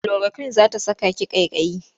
Kulorakwin za ta saka ki ƙaiƙayi.